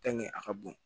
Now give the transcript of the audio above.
a ka bon